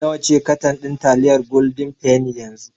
Nawa ce katan ɗin taliyar Golden penny yanzu?